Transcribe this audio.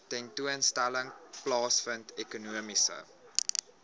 tentoonstelling plaasvind ekonomiese